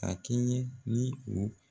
A kɛɲɛ ni o.